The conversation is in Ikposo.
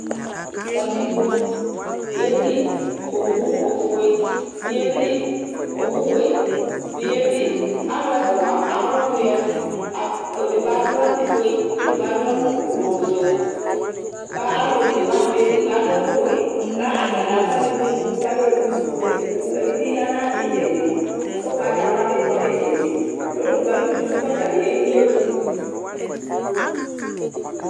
katikpo yeli owu ofue bi yeli owu wɛ bi yeli alo ɛfua alo ɔwiɛ edigbo ado ɛku fue ko edigbo ado ɛku ublɔ so ko alo one wani bi edigbo ado ɛku wɛ k'atani ak'alɔ imu imu k'ayemu edigbo edi ya n'itsɛdi ugbatawla bi kɔ n'itsɛdi ɔlo edigbo alu kusi k'ɔtabi y'emu